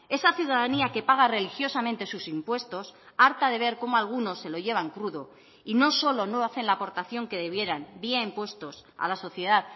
esa ciudadanía que paga religiosamente sus impuestos harta de ver cómo algunos se lo llevan crudo y no solo no hacen la aportación que debieran vía impuestos a la sociedad